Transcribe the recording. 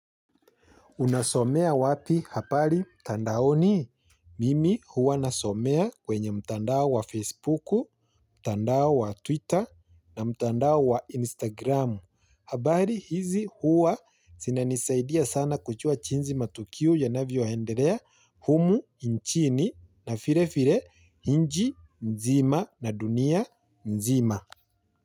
Unasomea wapi habari mtandaoni? Mimi huwa nasomea kwenye mtandao wa Facebook, mtandao wa Twitter na mtandao wa Instagram. Habari hizi huwa zinanisaidia sana kujua jinsi matukio yanavyo endelea humu nchini na vilevile nchi mzima na dunia mzima.